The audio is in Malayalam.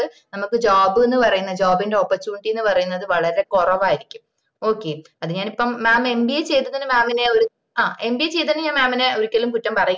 ത് നമ്മക്ക് job ന്ന് പറയന്ന job ന്റെ opportunity പറയന്ന വളരെ കൊറവായിരിക്കും okay അത് ഞാനിപ്പൊ ഞാൻ mamba ചെയ്തതിന്നെ mam നെ ഒരു ആഹ് mba ചെയ്തതിന് mam നെ ഒരിക്കലും കുറ്റം പറയില്ല